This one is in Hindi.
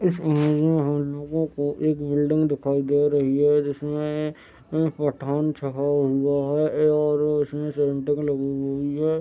इस इमेज में हम लोगों को एक बिल्डिंग दिखाई दे रही है जिसमें अ पठान छपा हुआ है ए और उसमें लगी हुई है।